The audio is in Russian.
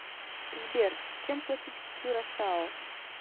сбер чем платить в кюрасао